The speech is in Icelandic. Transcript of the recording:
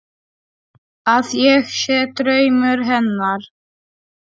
Að ég sé draumur hennar.